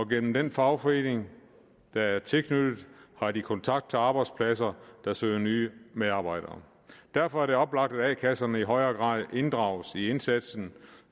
gennem den fagforening der er tilknyttet har de kontakt til arbejdspladser der søger nye medarbejdere derfor er det oplagt at a kasserne i højere grad inddrages i indsatsen